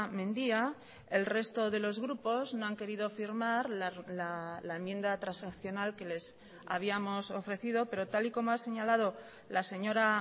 mendia el resto de los grupos no han querido firmar la enmienda transaccional que les habíamos ofrecido pero tal y como ha señalado la señora